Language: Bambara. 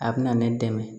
A bɛ na ne dɛmɛ